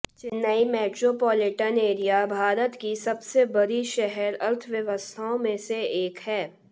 Chennai metropolitan area Bharat की सबसे बड़ी शहर अर्थव्यवस्थाओं में से एक है